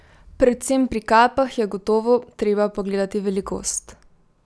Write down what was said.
Predvsem pri kapah je gotovo treba pogledati velikost?